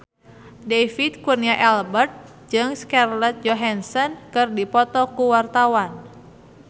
David Kurnia Albert jeung Scarlett Johansson keur dipoto ku wartawan